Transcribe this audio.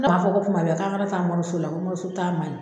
ko kuma bɛɛ ko an kana taa mɔriso la ko mɔriso taa man ɲi.